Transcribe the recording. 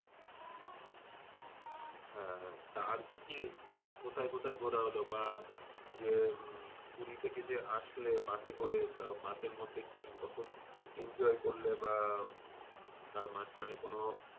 হ্যাঁ আর কি কি আর কোথাই ঘোরাহল? বা যে পুরি থেকে যে আসলে bus এ করে তা বাসের bus মধ্যে কি রকম enjoy করলে? বা তার মাঝখানে কোন,